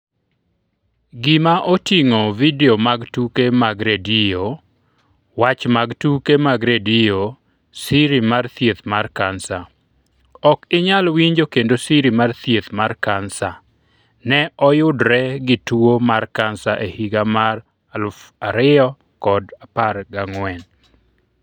Skip to details Gima oting'o Vidio mag tuke mag redio Wach mag tuke mag redio Siri mar thieth mar kansa Ok inyal winjo kendo siri mar thieth mar kansa ne oyudre gi tuwo mar kansa e higa mar 2014.